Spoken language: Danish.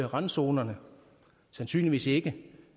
randzonerne sandsynligvis ikke